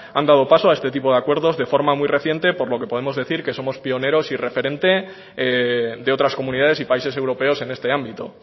han dado paso a este tipo de acuerdos de forma muy reciente por lo que podemos decir que somos pionero y referente de otras comunidades y países europeos en este ámbito